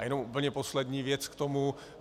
A jenom úplně poslední věc k tomu.